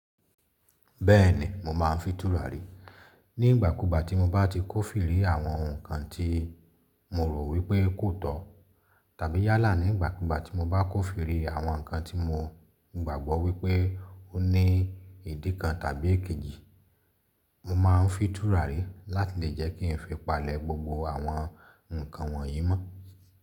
Bẹ́ẹ̀ni, mo máa ń fi tùràrí nígbàkúùgbà tí mo bá ti kófìrí àwọn ǹnkan tí mo rò wípé kò tọ̀ tàbí yálà nígbàkúùgbà tí mo bá kófìrí àwọn nǹkan tí mo gbàgbọ́ wípé ó ní ìdí kan tàbí èkejì. Mo maa ń fi tùràrí láti lè jẹ́ kí n fi palẹ̀ gbogbo àwọn nǹkan wọ̀nyí mọ́.